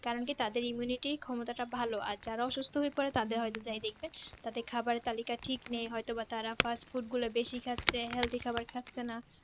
karaoke তাদের immunity ক্ষমতাটা ভালো আর যারা অসুস্ত হয়ে পরে আর তাদের হয়তো যাই দেখবে তাদের খাবার তালিকা ঠিক নেই হয়তো বা তারা Fast Food গুলা বেশি খাচ্ছে health খাবার খাচ্ছে না